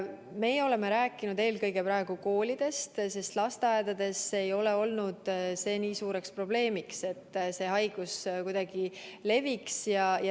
Meie oleme rääkinud praegu eelkõige koolidest, sest lasteaedades ei ole seni olnud suureks probleemiks, et see haigus kuidagi leviks.